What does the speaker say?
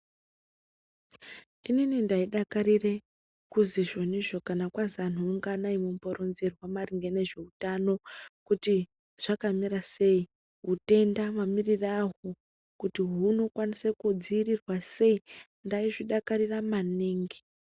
Inini ndaidakarire kuzwi izvonizvo kana kwazi antu unganai mumboronzerwa maringe ngezveutano kuti zvakamira sei. Utenda mamirire ahwo kuti hunokwanise kudzivirirwa sei, ndaizvidakarira maningi.